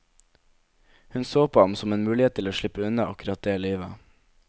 Hun så på ham som en mulighet til å slippe unna akkurat det livet.